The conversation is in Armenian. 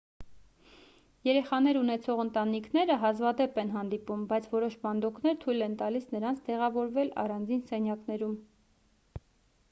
երեխաներ ունեցող ընտանիքները հազվադեպ են հանդիպում բայց որոշ պանդոկներ թույլ են տալիս նրանց տեղավորվել առանձին սենյակներում